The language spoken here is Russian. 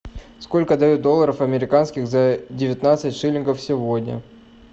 сколько дают долларов американских за девятнадцать шиллингов сегодня